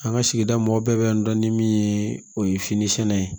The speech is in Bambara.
An ka sigida mɔgɔw bɛɛ bɛ n dɔn ni min ye o ye fini sɛnɛ ye